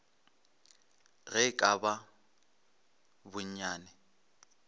ge e ka ba bonnyane